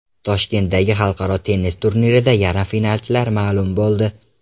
Toshkentdagi xalqaro tennis turnirida yarim finalchilar ma’lum bo‘ldi.